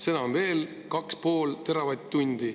Seda on veel 2,5 teravatt-tundi.